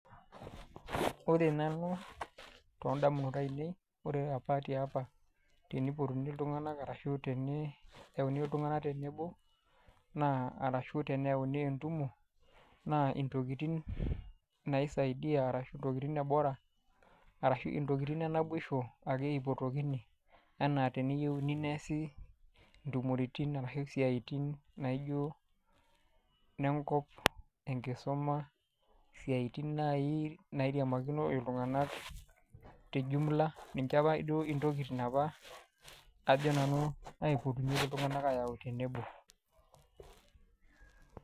Ore nanu toondamunot ainei, ore opa te opa, teneipotuni iltung'ana arashu teneyauni iltung'ana tenebo naa arashu teneauni entumo, naa intokitin naisaidia arashu intokitin e bora, arashu intokini anaa teneyouni neasi intumoritin arashu isiaitin naijo nenkop enkisuma, isiaitin naaji nairiamakino iltung'anak te jumula, ninche taa duo intokitin opa ajo nanu naipotunyeki iltung'ana ayau tenebo.